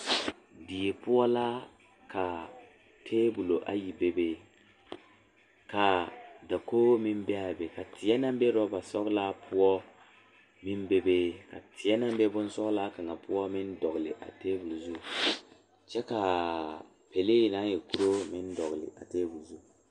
Die la ka dɔɔba banuu a zɔŋ a a kuriwiire kaŋa eɛ ziɛ kyɛ taa peɛle kaa kuriwiire mine e sɔglɔ kyɛ ka konkobile fare a kuriwiire poɔ a e doɔre.